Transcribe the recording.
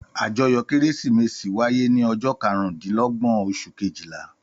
Àjọyọ̀ Kérésìmesì wáyé ní ọjọ́ karùndínlọ́gbọ̀n oṣù kejìlá.